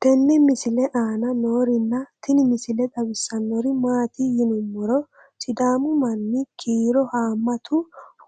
tenne misile aana noorina tini misile xawissannori maati yinummoro sidamu manni kiiro haammatu